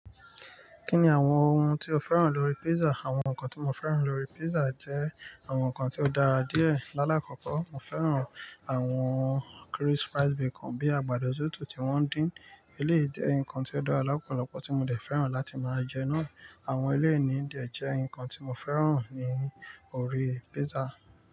Kí ni àwọn ohun tí o fẹ́ràn lórí pizza? Àwọn nǹkan tí mo fẹ́ràn lórí pizza jẹ́ àwọn nǹkan tí ó dára díẹ̀. Làlákọ̀ko, mo fẹ́ràn àwọn crisp rice bacon bíi àgbàdo tutù tí wọ́n dín. Eléyìí jẹ́ nǹkan tí ó dára lọ́pọ̀lọpọ̀ tí mo dè fẹ́ràn láti máa jẹ ẹ náà. Àwọn eléyíni de jẹ́ nǹkan tí mo fẹ́ràn ní orí pizza.